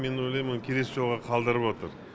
мен ойлаймын оны келесі жолға қалдырып отыр